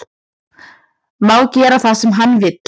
Má gera það sem hann vill